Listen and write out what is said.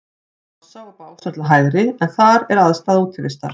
Krossá og Básar til hægri, en þar er aðstaða Útivistar.